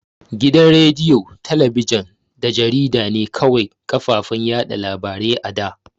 Gidan rediyo, talabijin da jarida ne kawai kafafen yaɗa labarai a da.